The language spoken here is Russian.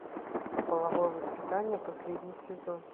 половое воспитание последний сезон